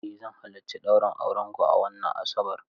Eh zan halarci ɗaurin aurenku a wannan Asabar.